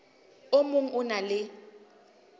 o mong o na le